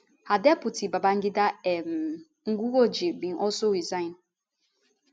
her deputy babangida um nguroje bin also resign